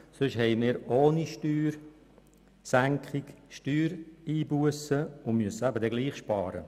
Sonst haben wir ohne Steuersenkungen Steuereinbussen und müssen trotzdem sparen.